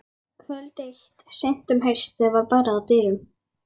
Kvöld eitt seint um haustið var barið að dyrum.